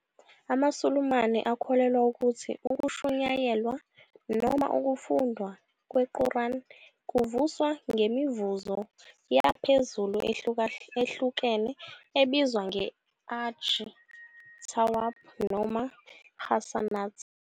AmaSulumane akholelwa ukuthi ukushunyayelwa noma ukufundwa kweQuran kuvuzwa "ngemivuzo" yaphezulu ehlukahlukene ebizwa nge-ajr, "thawab", noma "hasanat."